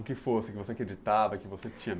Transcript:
O que fosse que você acreditava, que você tinha